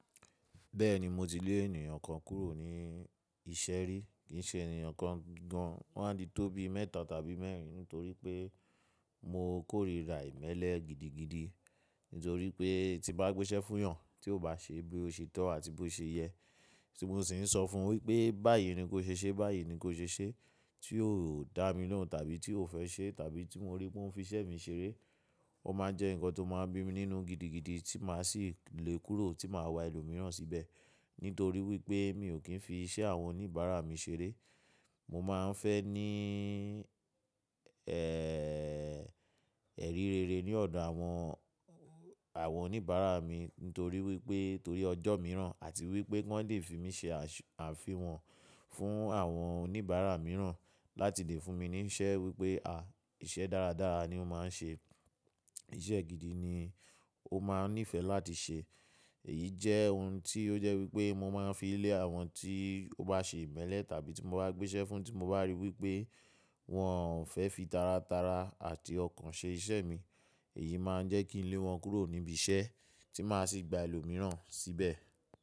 Bẹ́ẹ̀ni mo ti lé ènìyàn kan kúrò ní iṣẹ́ rí, kì í ṣe ènìyàn kan gan an, wọ́n a titó bí mẹ́ta tàbí mẹ́rin nítorí pé mo kórìíra ìmẹ́lẹ́ gidigidi. Nítorí pé tí n bá gbéṣẹ́ fún èèyàn tí kò bá ṣe bí ó ṣe tọ́ àti bí ó ṣe yẹ, tí mo sì ń sọ fún wí pé báyìí ni kó ṣe ṣe, báyìí ni kó ṣe ṣe, tí kò dá mi lóhùn tàbí tí kò fẹ́ ṣe tàbí tí mo rí pé ó ń fiṣẹ́ mi ṣeré, ó máa ń jẹ́ nǹkan tó máa ń bí mi nínú gidigidi tí màá sì lé e kúrò tí màá wa ẹlòmíràn síbẹ̀. Nítorí wípé mi ò kí ń fi iṣẹ́ àwọn oníbàárà mi ṣeré. Mo máa ń fẹ́ ní, ẹ́rí rere ní ọ̀dọ̀ àwọn, àwọn oníbàárà mi nítorí wípé, torí ọjọ́ mìíràn àti wípé ki wọn lè fi mí ṣe àfihàn fún àwọn oníbàárà mìíràn láti lè fún mi ní iṣẹ́ wípé, à, iṣẹ́ dáradára ni ó máa ń ṣe, iṣẹ́ gidi ni ó máa ń nífẹ̀ẹ́ láti ṣe. Èyí jẹ́ ohun tí ó jẹ́ wípé mo máa ń fi lé àwọn tí ó bá ṣe ìmẹ́lẹ́ tàbí tí mo bá gbéṣẹ́ fún tí mo bá rí wípé wọn ò fẹ́ fi tara tara àti ọkàn ṣe iṣẹ́ mi, èyí máa ń jẹ́ kí ń lé wọn kúrò níbi iṣẹ́ tí màá sì gba ẹlòmíràn síbẹ̀.